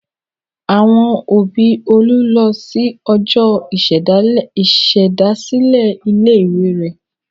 Àwọn òbí Olú lọ sí ọjọ́ ìṣèdásílẹ̀ ilé-ìwé rẹ̀.